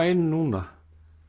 inn núna